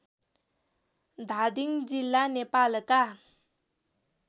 धादिङ जिल्ला नेपालका